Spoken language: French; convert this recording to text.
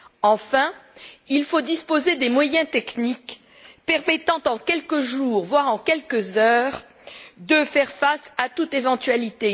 Enfin, il faut disposer des moyens techniques permettant, en quelques jours, voire en quelques heures, de faire face à toute éventualité.